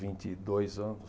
vinte e dois anos.